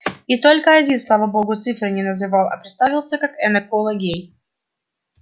и только один слава богу цифры не называл а представился как энакола гей